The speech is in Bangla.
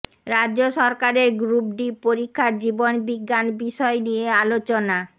রাজ্য সরকারের গ্রুপ ডি পরীক্ষার জীবনবিজ্ঞান বিষয় নিয়ে আলোচনা